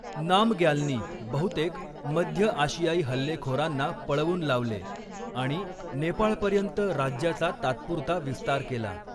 नामग्यालनी बहुतेक मध्य आशियाई हल्लेखोरांना पळवून लावले आणि नेपाळपर्यंत राज्याचा तात्पुरता विस्तार केला.